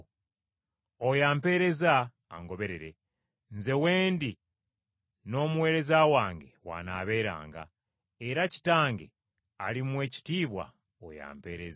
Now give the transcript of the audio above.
Oyo ampeereza, angoberere. Nze w’endi n’omuweereza wange w’anaabeeranga era Kitange alimuwa ekitiibwa oyo ampeereza.”